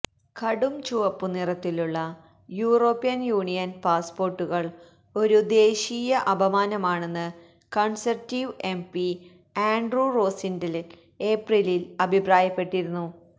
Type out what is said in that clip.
കുടം ചുവപ്പ് നിറത്തിലുള്ള യൂറോപ്യന് യൂണിയന് പാസ്പോര്ട്ടുകള് ഒരു ദേശീയ അപമാനമാണെന്ന് കണ്സര്വേറ്റീവ് എംപി ആന്ഡ്രൂ റോസിന്ഡെല് ഏപ്രിലില് അഭിപ്രായപ്പെട്ടിരുന്നു